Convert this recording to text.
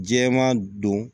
Jɛman don